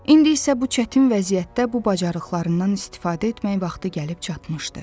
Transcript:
İndi isə bu çətin vəziyyətdə bu bacarıqlarından istifadə etmək vaxtı gəlib çatmışdı.